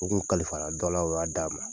O kun kalifara dɔ la o y'a d'a ma.